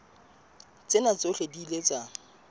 tsena tsohle di ile tsa